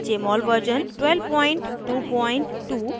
* jmol version 1222